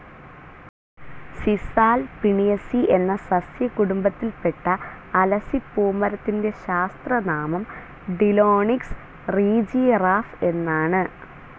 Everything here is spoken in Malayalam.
സിസൽ പിണിഎസി എന്നാ സസ്സ്യ കുടുംബത്തിൽപ്പെട്ട അലസിപൂമരത്തിൻ്റെ ശാസ്ത്രനാമം ടിലോണിക്സ് റീജിയറാഫ് എന്നാണു.